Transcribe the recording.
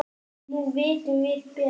Nú vitum við betur.